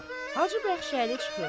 Hacı Bəxşəli çıxır.